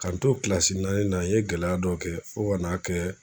K'an to naani na n ye gɛlɛya dɔ kɛ fo ka n'a kɛ